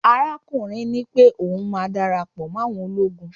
arakunrin nipé oun ma darapo mo àwọn ologun